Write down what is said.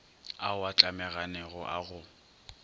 ao a tlemaganego a go